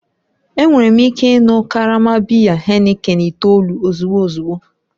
Enwere m ike ị ịṅụ karama biya Heineken itoolu ozugbo ozugbo